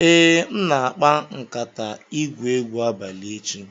Ee, m na-akpa nkatay igwu egwu abalị echi.